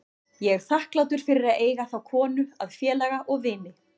Ég er þakklátur fyrir að eiga þá konu að félaga og vini.